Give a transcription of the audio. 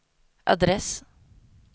adress